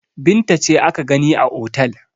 Binta ce aka gani a otel.